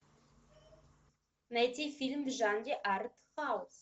найти фильм в жанре артхаус